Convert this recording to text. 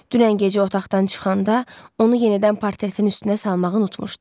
Dünən gecə otaqdan çıxanda onu yenidən partretin üstünə salmağı unutmuşdu.